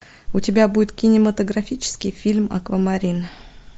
у тебя будет кинематографический фильм аквамарин